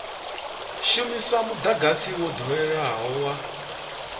shumisa mudagasi wo doweleaho wa